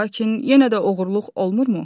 Lakin yenə də oğurluq olmurmu?